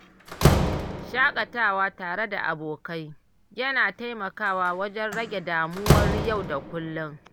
Shaƙatawa tare da abokai, yana taimakawa wajen rage damuwar yau da kullum.